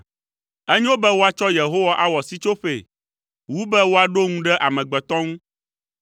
Enyo be woatsɔ Yehowa awɔ sitsoƒee wu, be woaɖo ŋu ɖe amegbetɔ ŋu.